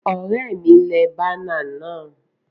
Òré mi le banner náà